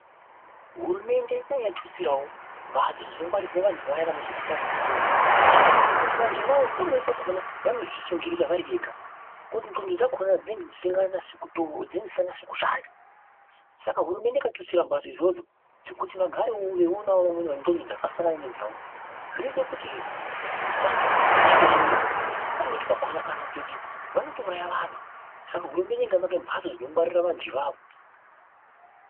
Hurumende dai yatutsirawo mphatso dziya dzinongarirwa vantu vaya vanozwa kupanda kwe ndxondo ngekuti vantu avavo pamweni pakhona vanozvisungirira vari vega ngekuti ndxondo dzawodzo dzinonge dzisikanasi kushanda. Saka hurumende ikatutsira mbatso idzodzo dzekuti vagarewo veionawo vamweni vane ndxondo dzakafanana nedzawo. Zinoite kuti vasanyanye kuzvisungirira, pamweni pakhona kana kutoti vanotouraya vantu saka hurumende ikavaka mpatso dzinodedzera vantu avavo.